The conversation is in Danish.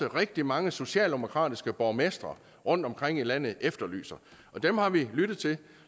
rigtig mange socialdemokratiske borgmestre rundtomkring i landet efterlyser dem har vi lyttet til